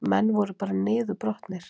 Menn voru bara niðurbrotnir